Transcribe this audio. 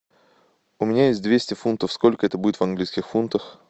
у меня есть двести фунтов сколько это будет в английских фунтах